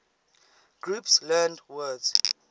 groups learned word